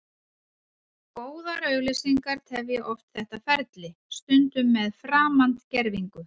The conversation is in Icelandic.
Góðar auglýsingar tefja oft þetta ferli, stundum með framandgervingu.